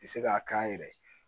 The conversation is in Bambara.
Ti se k'a k'an yɛrɛ ye